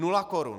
Nula korun.